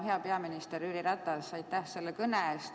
Hea peaminister Jüri Ratas, aitäh selle kõne eest!